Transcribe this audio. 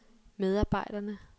medarbejderne